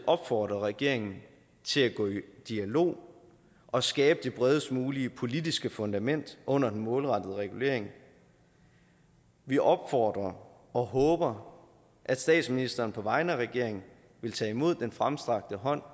opfordre regeringen til at gå i dialog og skabe det bredest mulige politiske fundament under den målrettede regulering vi opfordrer og håber at statsministeren på vegne af regeringen vil tage imod den fremstrakte hånd